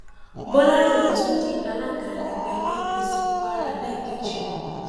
bọlárìnwá tún di alága ẹgbẹ apc kwara lẹẹkejì